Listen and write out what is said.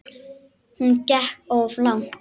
Hún gekk of langt.